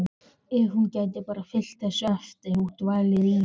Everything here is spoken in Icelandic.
Ef hún gæti bara fylgt þessu eftir og dvalið í